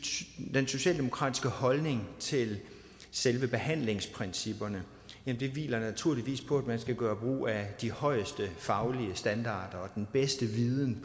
den socialdemokratiske holdning til selve behandlingsprincipperne hviler naturligvis på at man skal gøre brug af de højeste faglige standarder og den bedste viden